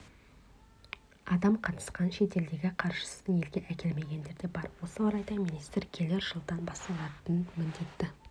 адам қатысқан шетелдегі қаржысын елге әкелмегендер де бар осы орайда министр келер жылдан басталатын міндетті